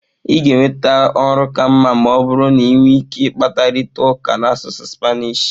ị ga-enweta ọrụ ka mma ma ọ bụrụ na ị nwere ike ịkparịta ụka n'asụsụ Spanish